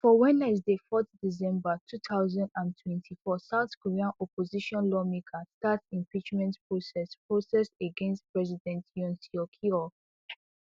for wednesday fourth december two thousand and twenty-four south korea opposition lawmakers start impeachment process process against president yoon suk yeol